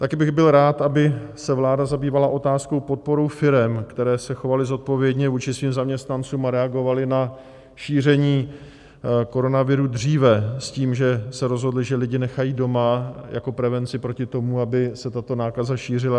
Také bych byl rád, aby se vláda zabývala otázkou podpory firem, které se chovaly zodpovědně vůči svým zaměstnancům a reagovaly na šíření koronaviru dříve s tím, že se rozhodly, že lidi nechají doma jako prevenci proti tomu, aby se tato nákaza šířila.